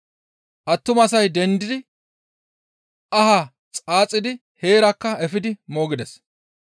Attumasay dendidi ahaa xaaxidi heerakka efidi moogides.